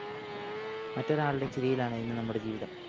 മറ്റൊരാളുടെ ചിരിയിലാണ് ഇന്ന് നമ്മുടെ ജീവിതം